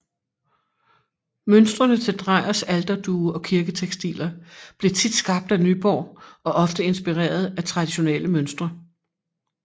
Mønstrene til Drejers alterduge og kirketekstiler blev tit skabt af Nyborg og ofte inspireret af traditionelle mønstre